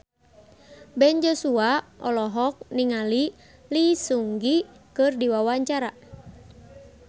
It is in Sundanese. Ben Joshua olohok ningali Lee Seung Gi keur diwawancara